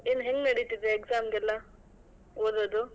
ಏನ್ ಹೆಂಗ್ ನಡೀತಿದೆ exam ಗೆಲ್ಲ ಓದೋದು?